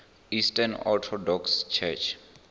eastern orthodox church